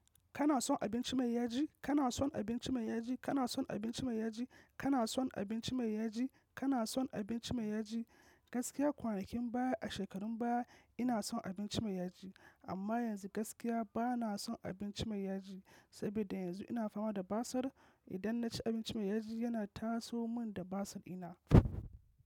Kana son abinci mai yaji? Kana son abinci mai yaji? Kana son abinci mai yaji? Kana son abinci mai yaji? Kana son abinci mai yaji? Gaskiya kwanakin baya a shekarun baya ina son abinci mai yaji amma yanzu gaskiya bana son abinci mai yaji, saboda yanzu ina fama da basir idan naci abinci mai yaji yana taso mun da basir dina.